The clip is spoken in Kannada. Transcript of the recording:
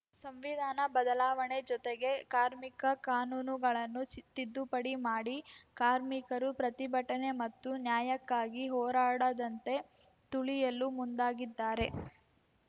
ಸಂವಿಧಾನ ಬದಲಾವಣೆ ಜೊತೆಗೆ ಕಾರ್ಮಿಕ ಕಾನೂನುಗಳನ್ನು ಸಿ ತಿದ್ದುಪಡಿ ಮಾಡಿ ಕಾರ್ಮಿಕರು ಪ್ರತಿಭಟನೆ ಮತ್ತು ನ್ಯಾಯಕ್ಕಾಗಿ ಹೋರಾಡದಂತೆ ತುಳಿಯಲು ಮುಂದಾಗಿದ್ದಾರೆ